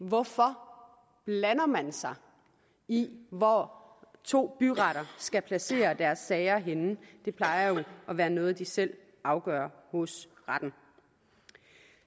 hvorfor blander man sig i hvor to byretter skal placere deres sager henne det plejer jo at være noget de selv afgør hos retten